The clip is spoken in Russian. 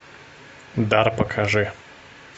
дар покажи